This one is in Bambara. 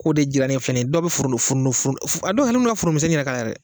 k'o de jirannen filɛ nin ye dɔw bɛ furu furu a dɔw forontomisɛnnin k'a la yɛrɛ